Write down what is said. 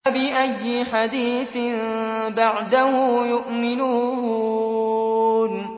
فَبِأَيِّ حَدِيثٍ بَعْدَهُ يُؤْمِنُونَ